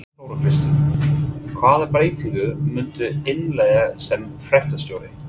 Þóra Kristín: Hvaða breytingar muntu innleiða sem fréttastjóri?